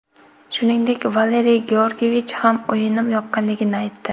Shuningdek, Valeriy Georgiyevich ham o‘yinim yoqqanligini aytdi.